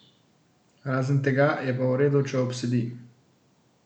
Razen tega je pa v redu, če obsedi.